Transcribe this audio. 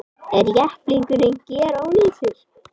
Er jepplingurinn gerónýtur